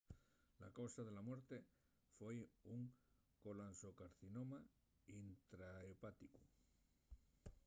la causa de la muerte foi un colanxocarcinoma intrahepáticu